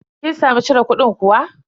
Kin samu cire kudin kuwa?